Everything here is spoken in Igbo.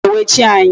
Iwe na-ewe chi anyị.